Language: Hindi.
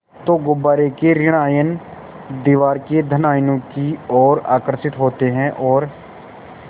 तो गुब्बारे के ॠण आयन दीवार के धन आयनों की ओर आकर्षित होते हैं और